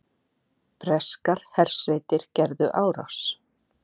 Breskar hersveitir gerðu árás